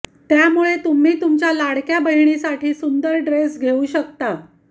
त्यामुळे तुम्ही तुमच्या लाडक्या बहिणीसाठी सुंदर ड्रेस घेऊ शकता